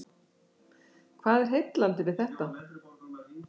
Hvað er heillandi við þetta?